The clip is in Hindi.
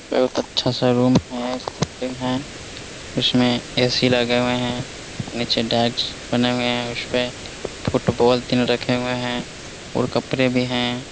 बहुत अच्छा सा रूम है फोल्डिंग है उसमें ए.सी. लगे हुए हैं नीचे डेस्क बने हुए हैं उस पे फुटबॉल तीन रखे हुए हैं और कपड़े भी हैं ।